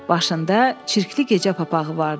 Başında çirkli gecə papağı vardı.